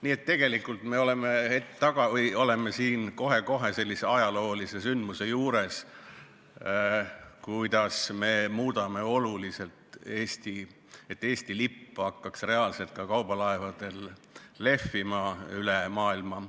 Nii et tegelikult me oleme kohe-kohe sellise ajaloolise sündmuse juures, et Eesti lipp hakkaks lehvima ka kaubalaevadel üle maailma.